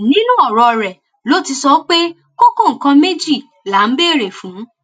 nínú ọrọ rẹ ló ti sọ pé kókó nǹkan méjì là ń béèrè fún